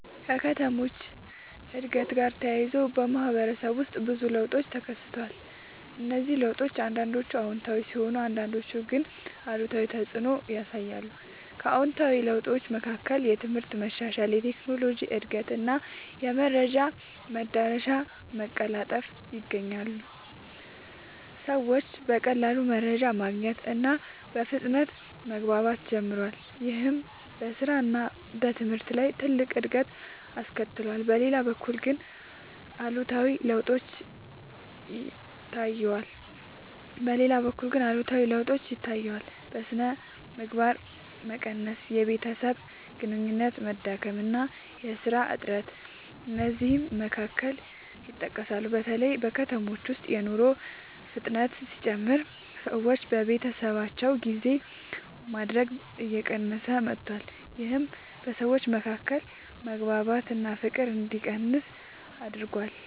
ከከተሞች እድገት ጋር ተያይዞ በማህበረሰብ ውስጥ ብዙ ለውጦች ተከስተዋል። እነዚህ ለውጦች አንዳንዶቹ አዎንታዊ ሲሆኑ አንዳንዶቹ ግን አሉታዊ ተፅዕኖ ያሳያሉ። ከአዎንታዊ ለውጦች መካከል የትምህርት መሻሻል፣ የቴክኖሎጂ እድገት እና የመረጃ መዳረሻ መቀላጠፍ ይገኛሉ። ሰዎች በቀላሉ መረጃ ማግኘት እና በፍጥነት መግባባት ጀምረዋል። ይህም በስራ እና በትምህርት ላይ ትልቅ እድገት አስከትሏል። በሌላ በኩል ግን አሉታዊ ለውጦችም ታይተዋል። የሥነ ምግባር መቀነስ፣ የቤተሰብ ግንኙነት መዳከም እና የሥራ እጥረት ከእነዚህ መካከል ይጠቀሳሉ። በተለይ በከተሞች ውስጥ የኑሮ ፍጥነት ሲጨምር ሰዎች ለቤተሰባቸው ጊዜ ማድረግ እየቀነሰ መጥቷል። ይህም በሰዎች መካከል መግባባት እና ፍቅር እንዲቀንስ አድርጓል።